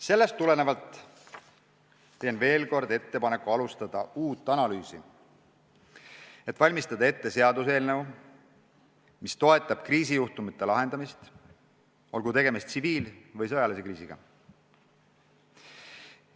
Sellest tulenevalt teen veel kord ettepaneku alustada uut analüüsi, et valmistada ette seaduseelnõu, mis toetab kriisijuhtumite lahendamist, olgu tegemist tsiviil- või sõjalise kriisiga.